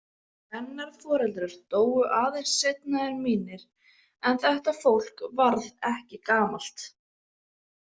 Hennar foreldrar dóu aðeins seinna en mínir en þetta fólk varð ekki gamalt.